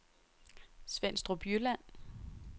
Svenstrup Jylland